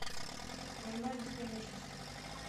война бесконечности